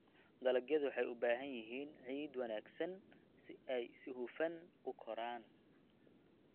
Dalagyadu waxay u baahan yihiin ciid wanaagsan si ay si hufan u koraan.